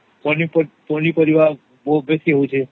ପନିପରିବା ବହୁତ ବେଶୀ ହଉଛେ